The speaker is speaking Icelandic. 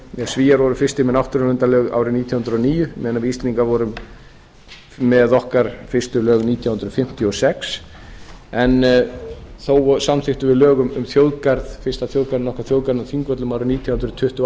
norðurlöndunum svíar voru fyrstir með náttúruverndarlög árið nítján hundruð og níu meðan við íslendingar vorum með okkar fyrstu lög nítján hundruð fimmtíu og sex en þó samþykktum við lög um fyrsta þjóðgarðinn okkar á þingvöllum árið nítján hundruð tuttugu